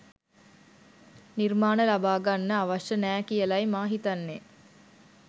නිර්මාණ ලබා ගන්න අවශ්‍ය නෑ කියලයි මා හිතන්නේ.